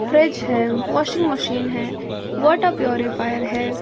Fridge है washing machine है water purifier है ।